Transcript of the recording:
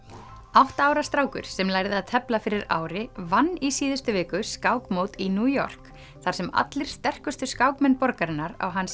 átta ára strákur sem lærði að tefla fyrir ári vann í síðustu viku skákmót í New York þar sem allir sterkustu skákmenn borgarinnar á hans